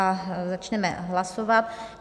A začneme hlasovat.